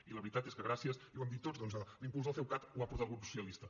i la veritat és que gràcies i ho hem dit tots doncs a l’impuls del ceucat ho va portar el grup socialista